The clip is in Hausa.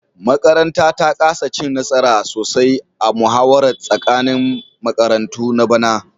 Makaranta ta kasa cin nasara sosai a muhawarar tsakanin makarantu na bana